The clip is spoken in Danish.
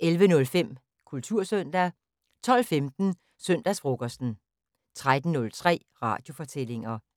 11:05: Kultursøndag 12:15: Søndagsfrokosten 13:03: Radiofortællinger